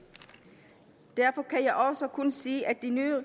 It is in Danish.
derfor kan jeg også kun sige at det nye